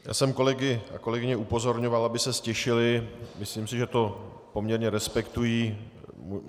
Já jsem kolegy a kolegyně upozorňoval, aby se ztišili, myslím si, že to poměrně respektují.